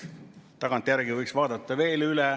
Tagantjärgi võiks vaadata veel üle.